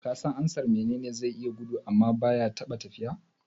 Kasan ansar "Mene ne zai iya gudu amma baya taɓa tafiya"?